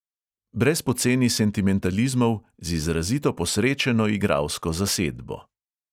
Brez poceni sentimentalizmov, z izrazito posrečeno igralsko zasedbo.